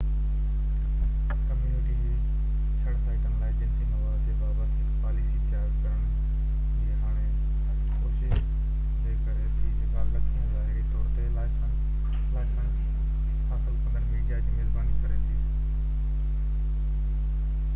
community جي چڙ سائيٽن لاءِ جنسي مواد جي بابت هڪ پاليسي تيار ڪرڻ جي هاڻوڪي ڪوشش جي ڪري ٿي جيڪا لکين ظاهري طور تي لائسنس حاصل ڪندڙ ميڊيا جي ميزباني ڪري ٿي